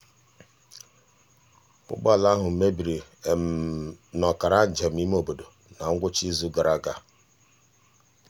ụgbọala ahụ mebiri n'ọkara um njem imeobodo na ngwụcha izu gara aga.